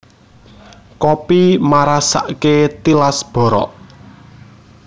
Kopi marasake tilas borok